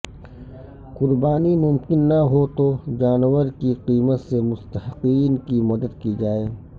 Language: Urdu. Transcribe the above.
قربانی ممکن نہ ہو تو جانور کی قیمت سے مستحقین کی مدد کی جائے